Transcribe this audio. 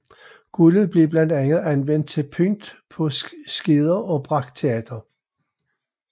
Guldet blev blandt andet anvendt til pynt på skeder og brakteater